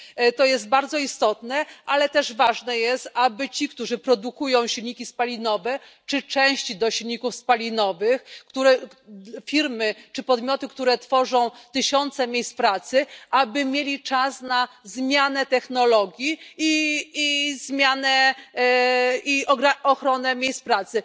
To jest bardzo istotne, ale też ważne jest, aby ci, którzy produkują silniki spalinowe czy części do silników spalinowych, firmy czy podmioty, które tworzą tysiące miejsc pracy, aby mieli czas na zmianę technologii i ochronę miejsc pracy.